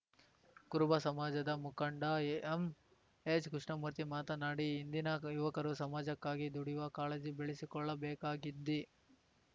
ಕುರುಬ ಸಮಾಜದ ಮುಖಂಡ ಎಂಎಚ್‌ಕೃಷ್ಣಮೂರ್ತಿ ಮಾತನಾಡಿ ಇಂದಿನ ಯುವಕರು ಸಮಾಜಕ್ಕಾಗಿ ದುಡಿಯುವ ಕಾಳಜಿ ಬೆಳಸಿಕೊಳ್ಳಬೇಕಾಗಿದ್ದಿ